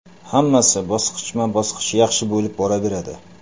Hammasi bosqichma-bosqich yaxshi bo‘lib boraveradi.